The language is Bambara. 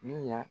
Ni ya